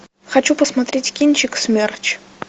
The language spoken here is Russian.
хочу посмотреть кинчик смерч